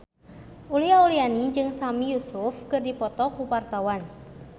Uli Auliani jeung Sami Yusuf keur dipoto ku wartawan